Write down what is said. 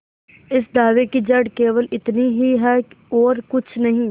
इस दावे की जड़ केवल इतनी ही है और कुछ नहीं